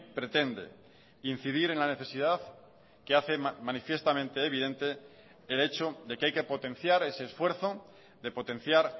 pretende incidir en la necesidad que hace manifiestamente evidente el hecho de que hay que potenciar ese esfuerzo de potenciar